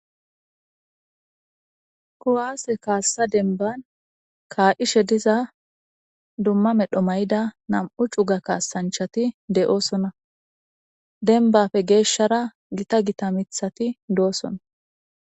Kuwase kaasa demban kaa'ishe diza duma medho mayida nam'u cuga kaasanchati de'osona dembape heeshara gita gita mithati doosona.